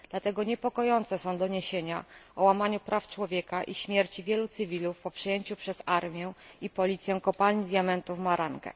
Dlatego niepokojące są doniesienia o łamaniu praw człowieka i śmierci wielu cywilów po przejęciu przez armię i policję kopalni diamentów w Marange.